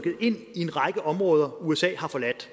området og